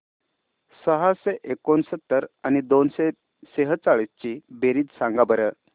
सहाशे एकोणसत्तर आणि दोनशे सेहचाळीस ची बेरीज सांगा बरं